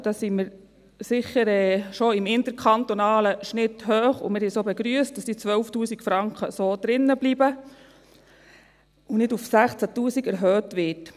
Da sind wir sicher im interkantonalen Schnitt schon hoch, und wir haben es auch begrüsst, dass die 12’000 Franken so drinbleiben und nicht auf 16’000 Franken erhöht werden.